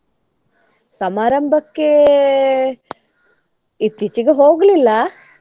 ಸಮಾರಂಭಕ್ಕೆ ಇತ್ತಿಚೇಗೆ ಹೋಗ್ಲಿಲ್ಲ.